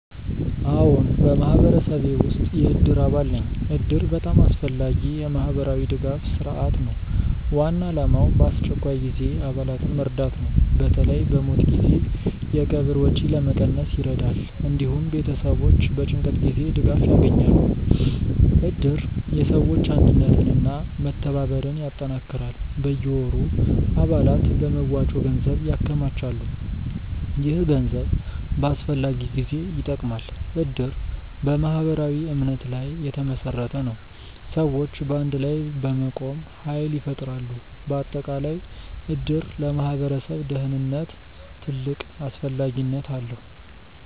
አዎን፣ በማህበረሰቤ ውስጥ የእድር አባል ነኝ እድር በጣም አስፈላጊ የማህበራዊ ድጋፍ ስርዓት ነው። ዋና ዓላማው በአስቸኳይ ጊዜ አባላትን መርዳት ነው። በተለይ በሞት ጊዜ የቀብር ወጪ ለመቀነስ ይረዳል። እንዲሁም ቤተሰቦች በጭንቀት ጊዜ ድጋፍ ያገኛሉ። እድር የሰዎች አንድነትን እና መተባበርን ያጠናክራል። በየወሩ አባላት በመዋጮ ገንዘብ ያከማቻሉ። ይህ ገንዘብ በአስፈላጊ ጊዜ ይጠቅማል። እድር በማህበራዊ እምነት ላይ የተመሰረተ ነው። ሰዎች በአንድ ላይ በመቆም ኃይል ይፈጥራሉ። በአጠቃላይ እድር ለማህበረሰብ ደህንነት ትልቅ አስፈላጊነት አለው።